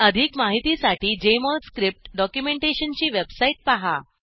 अधिक माहितीसाठी Jmol script documentation ची वेबसाईट पहा